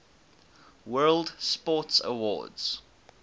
world sports awards